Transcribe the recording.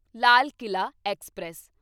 Lal Qila express